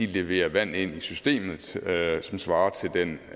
leverer vand ind i systemet som svarer til den